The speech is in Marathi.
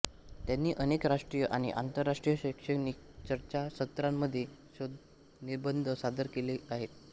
त्यांनी अनेक राष्ट्रीय आणि आंतरराष्ट्रीय शैक्षणिक चर्चासत्रांमध्ये शोधनिबंध सादर केले आहेत